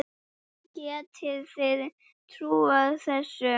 Getið þið trúað þessu?